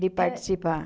De participar.